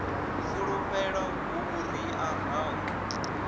fulufhelo hu vhuria ha u